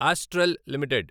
astral limited